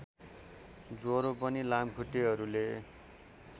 ज्वरो पनि लामखुट्टेहरूले